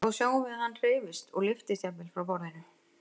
Þá sjáum við að hann hreyfist og lyftist jafnvel frá borðinu.